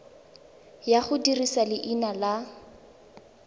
ya go dirisa leina la